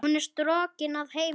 Hún er strokin að heiman.